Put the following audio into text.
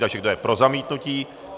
Takže kdo je pro zamítnutí?